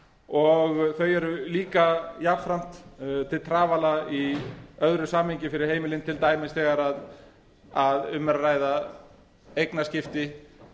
og þau eru líka jafnframt til trafala í öðru samhengi fyrir heimilin til dæmis þegar um er að ræða eignaskipti fólk